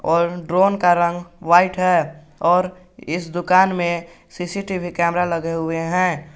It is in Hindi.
और ड्रोन का रंग व्हाइट है और इस दुकान में सी_सी_टी_वी कैमरा लगे हुए हैं।